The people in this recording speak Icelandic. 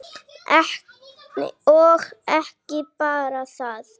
Og ekki bara það: